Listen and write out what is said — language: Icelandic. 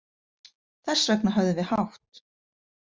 Þess vegna höfðum við hátt.